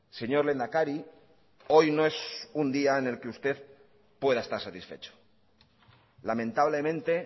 señor lehendakari hoy no es un día en el que usted pueda estar satisfecho lamentablemente